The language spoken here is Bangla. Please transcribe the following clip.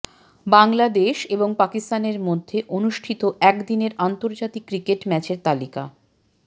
বাংলাদেশ এবং পাকিস্তানের মধ্যে অনুষ্ঠিত একদিনের আন্তর্জাতিক ক্রিকেট ম্যাচের তালিকা